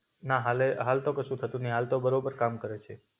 ના હાલે હાલ તો કસુ થતું નઈ, હાલ તો બરોબર કામ કરે છે.